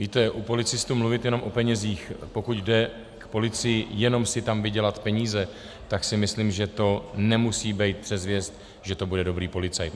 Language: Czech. Víte, u policistů mluvit jenom o penězích, pokud jde k policii jenom si tam vydělat peníze, tak si myslím, že to nemusí být předzvěst, že to bude dobrý policajt.